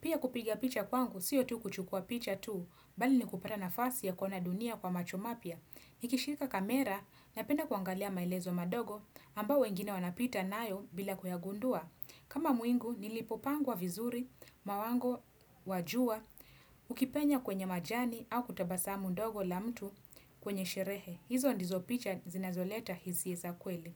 Pia kupiga picha kwangu, sio tu kuchukua picha tu, bali ni kupata nafasi ya kuona dunia kwa macho mapia. Nikishika kamera napenda kuangalia maelezo madogo ambao wengine wanapita nayo bila kuyagundua. Kama mwingu, nilipopangwa vizuri, mawango, wa jua, ukipenya kwenye majani au kutabasamu ndogo la mtu kwenye sherehe. Hizo ndizo picha zinazoleta hisia za kweli.